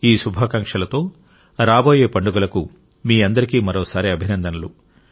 ఈ శుభాకాంక్షలతో రాబోయే పండుగలకు మీ అందరికీ మరోసారి అభినందనలు